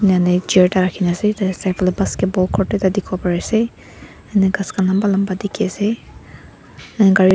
enahona chair ekta rakhina ase tatae side falae basketball court dikhiwo parease ghas khan lamba lamba dikhiase.